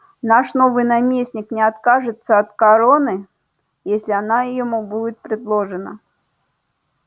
наш новый наместник не откажется от короны если она ему будет предложена